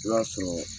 I b'a sɔrɔ